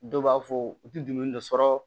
Dɔw b'a fɔ u tɛ dumuni dɔ sɔrɔ